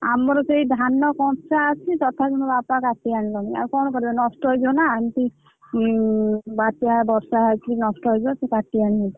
ଆମର ସେ ଧାନ କଞ୍ଚା ଅଛି ତଥାପି ମୋ ବାପା କାଟି ଆଣିଛନ୍ତି ଆଉ କଣ କରିବେ ନଷ୍ଟ ହେଇଯିବ ନାଁ ଏମତି ଉଁ ବାତ୍ୟା ବର୍ଷା ହଉଛି ନଷ୍ଟ ହେଇଯିବ ସବୁ କାଟିଆଣିଛନ୍ତି।